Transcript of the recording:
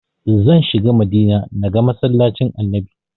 Zan shiga Madina na ga masallacin annabi